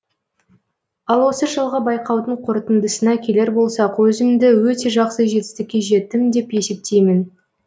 ал осы жылғы байқаудың қорытындысына келер болсақ өзімді өте жақсы жетістікке жеттім деп есептеймін